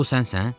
Bu sənsən?